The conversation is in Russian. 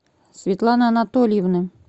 светланы анатольевны